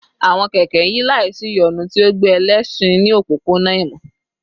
Awọn kẹkẹ n yi laisiyonu, ti o gbe ẹlẹṣin ni opopona ìmọ